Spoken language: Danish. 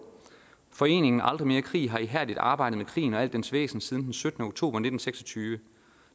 foreningen aldrig mere krig har ihærdigt arbejdet mod krigen og al dens væsen siden den syttende oktober nitten seks og tyve